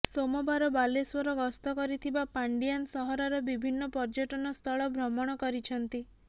ସୋମବାର ବାଲେଶ୍ବର ଗସ୍ତ କରିଥିବା ପାଣ୍ଡିଆନ୍ ସହରର ବିଭିନ୍ନ ପର୍ଯ୍ୟଟନ ସ୍ଥଳ ଭ୍ରମଣ କରିଛନ୍ତି